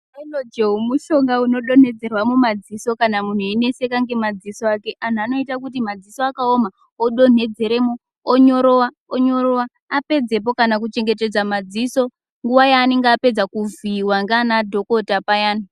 Haigilojewo mushonga unodonhedzerwa mumadziso kana munhu einetseka ngemadziso ake anhu anoite kuti madziso akawoma odonhedzeremwo, onyorowa onyorowa apedzepo kana kuchengetedze maziso nguwa yaanenge apedza kuvhiiwa ngeana dhokota payani.